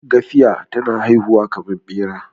gafiya tana haihuwa kamar Bera